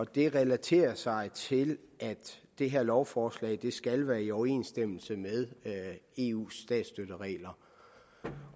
det relaterer sig til at det her lovforslag skal være i overensstemmelse med eus statsstøtteregler der